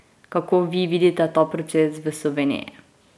Kako vi vidite ta proces v Sloveniji?